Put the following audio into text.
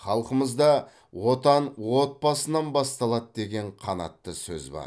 халқымызда отан отбасынан басталады деген қанатты сөз бар